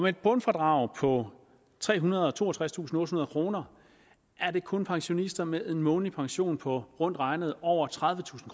et bundfradrag på trehundrede og toogtredstusindottehundrede kroner er det kun pensionister med en månedlig pension på rundt regnet over tredivetusind